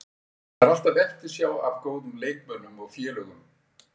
Það er alltaf eftirsjá af góðum leikmönnum og félögum.